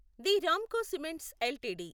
తే Ramco cements LTD